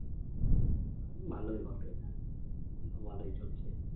ভালো হি হবে, ভালো হি চলছে